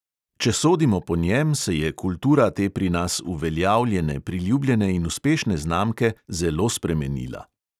Če sodimo po njem, se je kultura te pri nas uveljavljene, priljubljene in uspešne znamke zelo spremenila.